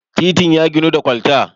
titin ya ginu da kwalta